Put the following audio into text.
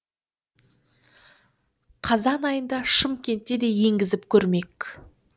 қазан айында шымкентте де енгізіп көрмек